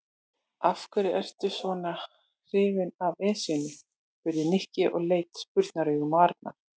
Af hverju ertu svona hrifinn af Esjunni? spurði Nikki og leit spurnaraugum á Arnar.